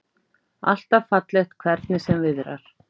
Alltaf fallegt, hvernig sem viðrar.